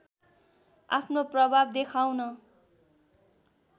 आफ्नो प्रभाव देखाउन